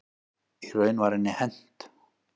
Í raun var henni hent.